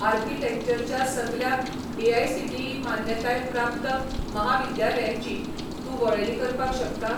आर्किटेक्चरच्या सगल्या एआयसीटीई मान्यताय प्राप्त म्हाविद्यालयांची तूं वळेरी करपाक शकता?